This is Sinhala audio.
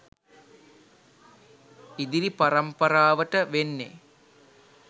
ඉදිරි පරම්පරාවට වෙන්නෙ